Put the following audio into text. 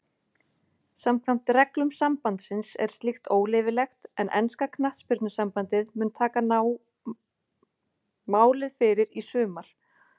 Samkvæmt reglum sambandsins er slíkt óleyfilegt en enska knattspyrnusambandið mun taka máið fyrir í sumar.